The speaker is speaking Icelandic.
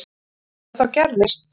Ef það þá gerðist.